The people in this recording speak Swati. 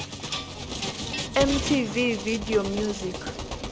mtv video music